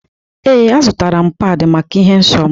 Ee, azụrụ m pad maka ịhụ nsọ m.